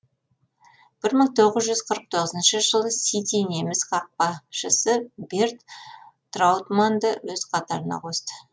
бір мың тоғыз жүз қырық тоғызыншы жылы сити неміс қақпашысы берт траутманнды өз қатарына қосты